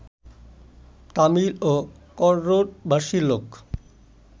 তামিল ও কন্নড়ভাষী লোক